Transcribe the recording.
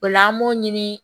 O la an b'o ɲini